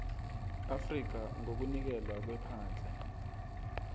afrika ngokunikelwa kwephandle